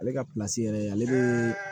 Ale ka yɛrɛ ale bɛ